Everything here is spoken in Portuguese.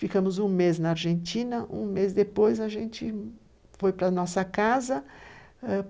Ficamos um mês na Argentina, um mês depois a gente foi para nossa casa.